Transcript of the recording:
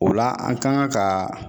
O la an kan ka kaa